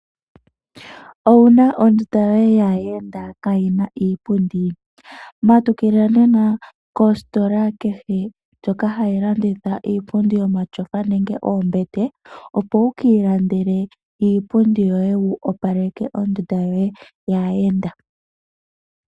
Owuna ondunda yoye yaayenda kaayi na iipundi? Matukila nena kositola kehe, ndjoka hayi landitha iipundi yomatyofa nenge oombete, opo wukiilandele iipundi yoye, wu opaleke ondunda yoye yaayenda.